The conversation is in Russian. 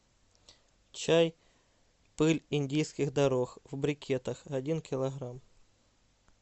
чай пыль индийских дорог в брикетах один килограмм